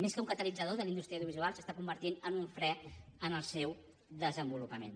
més que un catalitzador de la indústria audiovisual s’està convertint en un fre al seu desenvolupament